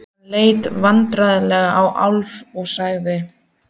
Hann leit vandræðalega á Álf og sagði